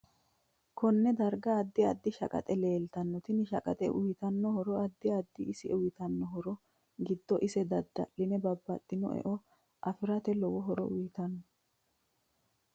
Konne darga addi addi shaqaxe leeltano tini shaqaxe uyiitanno horo addi addite ise uyiitanno horo giddo ise dadaline babaxitino e'o afirate lowo horo uyiitanno